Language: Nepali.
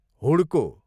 हुड्को